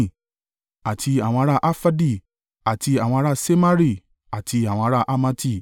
àti àwọn ará Arfadi, àti àwọn ará Semari, àti àwọn ará Hamati.